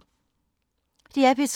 DR P3